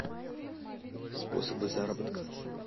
способы заработка